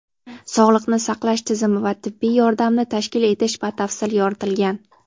Sog‘liqni saqlash tizimi va tibbiy yordamni tashkil etish batafsil yoritilgan.